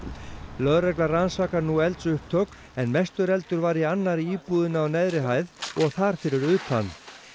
lögregla rannsakar nú eldsupptök en mestur eldur var í annarri íbúðinni á neðri hæð og þar fyrir utan